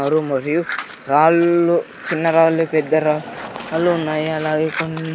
car మరియు రాళ్లు చిన్న రాళ్ళు పెద్ద రాళ్లు ఉన్నాయి అలాగే కోన్--